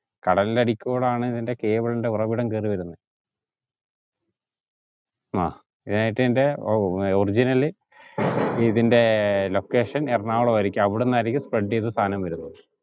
കടലിന്റെ ആടീൽ കൂടെയാണ് ഇതിന്റെ cable ൻറെ ഉറവിടം കേറി വരുന്നത് ആ ഇതിന്റെ original ഇതിന്റെ location എറണാകുളം ആയിരിക്കും അവിടുന്നായിരിക്കും spread ചെയ്ത സാധനം വരുന്നത്